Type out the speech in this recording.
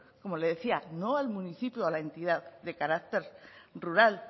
como le decía no al municipio o a la entidad de carácter rural